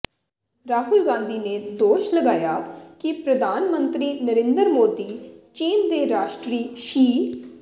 ਰਾਹੁਲ ਗਾਂਧੀ ਨੇ ਦੋਸ਼ ਲਗਾਇਆ ਕਿ ਪ੍ਰਧਾਨ ਮੰਤਰੀ ਨਰਿੰਦਰ ਮੋਦੀ ਚੀਨ ਦੇ ਰਾਸ਼ਟਰੀ ਸ਼ੀ